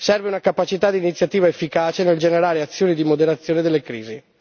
serve una capacità d'iniziativa efficace nel generare azioni di moderazione delle crisi.